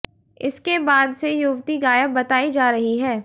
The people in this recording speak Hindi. इसके बाद से युवती गायब बताई जा रही है